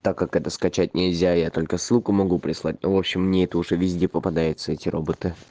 так как это скачать нельзя я только ссылку могу прислать ну в общем мне это уже везде попадается эти роботы